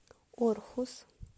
орхус